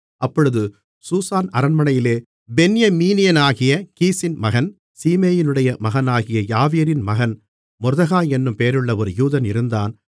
அப்பொழுது சூசான் அரண்மனையிலே பென்யமீனியனாகிய கீசின் மகன் சீமேயினுடைய மகனாகிய யாவீரின் மகன் மொர்தெகாய் என்னும் பெயருள்ள ஒரு யூதன் இருந்தான்